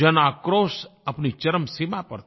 जनआक्रोश अपनी चरम सीमा पर था